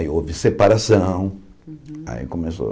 Aí houve separação, aí começou,